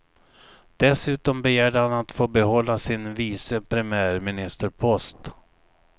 Dessutom begärde han att få behålla sin vice premiärministerpost.